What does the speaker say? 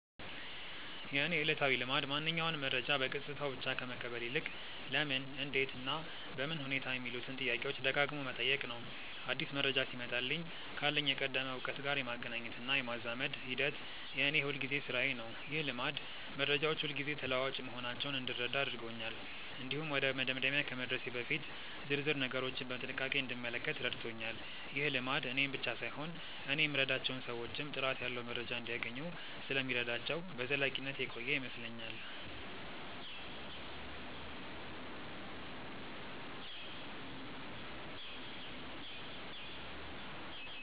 የእኔ ዕለታዊ ልማድ ማንኛውንም መረጃ በገጽታው ብቻ ከመቀበል ይልቅ "ለምን? እንዴት? እና በምን ሁኔታ" የሚሉትን ጥያቄዎች ደጋግሞ መጠየቅ ነው። አዲስ መረጃ ሲመጣልኝ ካለኝ የቀደመ እውቀት ጋር የማገናኘትና የማዛመድ ሂደት የእኔ የሁልጊዜ ሥራዬ ነው። ይህ ልማድ መረጃዎች ሁልጊዜ ተለዋዋጭ መሆናቸውን እንድረዳ አድርጎኛል። እንዲሁም ወደ መደምደሚያ ከመድረሴ በፊት ዝርዝር ነገሮችን በጥንቃቄ እንድመለከት ረድቶኛል። ይህ ልማድ እኔን ብቻ ሳይሆን እኔ የምረዳቸውን ሰዎችም ጥራት ያለው መረጃ እንዲያገኙ ስለሚረዳቸው በዘላቂነት የቆየ ይመስለኛል።